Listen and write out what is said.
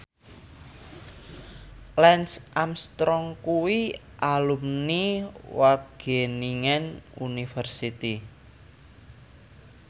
Lance Armstrong kuwi alumni Wageningen University